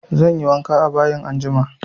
Zanyi wanka a bayin anjima